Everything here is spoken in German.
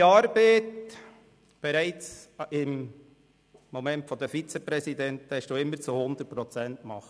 Ihre Arbeit haben Sie bereits als Vizepräsidentin zu 100 Prozent gemacht.